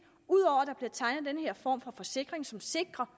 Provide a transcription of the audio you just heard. at ud denne form for forsikring som sikrer